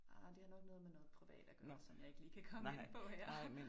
Ah, det har nok noget med noget privat at gøre, som jeg ikke lige kan komme ind på her